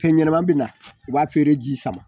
Fɛn ɲɛnama bɛ na u b'a feere ji sama